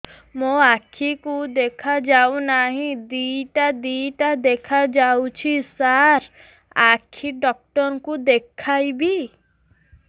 ମୋ ଆଖିକୁ ଦେଖା ଯାଉ ନାହିଁ ଦିଇଟା ଦିଇଟା ଦେଖା ଯାଉଛି ସାର୍ ଆଖି ଡକ୍ଟର କୁ ଦେଖାଇବି